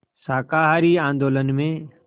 शाकाहारी आंदोलन में